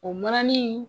O mananin